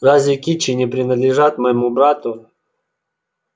разве кичи не принадлежат моему брату